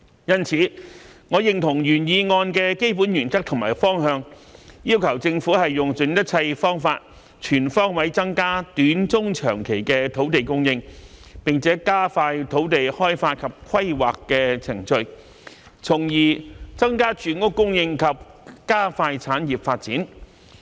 因此，我認同原議案的基本原則和方向，要求政府用盡一切方法，全方位增加短、中、長期的土地供應，並加快土地開發及規劃的程序，從而增加住屋供應及加快產業發展。